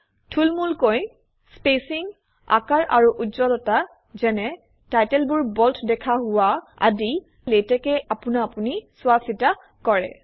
থুলমুলকৈ spacing আকাৰ আৰু উজ্জ্বলতা যেনে টাইটেলবোৰ বল্ড দেখা হোৱা আদি লেটেক্সে আপোনা আপুনি চোৱা চিতা কৰে